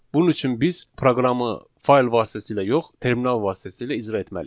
Bunun üçün biz proqramı fayl vasitəsilə yox, terminal vasitəsilə icra etməliyik.